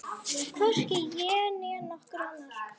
Hvorki ég né nokkur annar.